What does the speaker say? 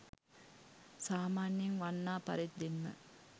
සාමාන්‍යයෙන් වන්නා පරිද්දෙන්ම